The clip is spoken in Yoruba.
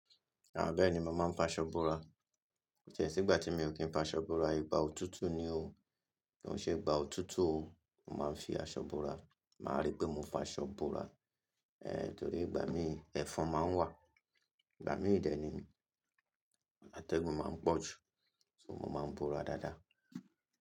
Bẹẹ nii mo máa ń fàṣọ búra. Ko tí è sígbà tí mi ò kí ń fàṣọ búra, ìgbà òtútù ni o. Kí n ṣe ìgbà òtútù o, mo máa ń fi aṣọ búra. Máa rí pé mo fàṣọ bora. Ehn, torí ìgbà mi, ẹfọn máa ń wà. Ìgbà mí ìdẹ ni, átẹ́gùn máa ń pọ̀ jù. So mo máa ń búra dáadáa.